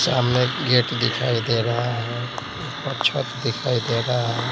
सामने गेट दिखाई दे रहा है ऊपर छत दिखाई दे रहा है।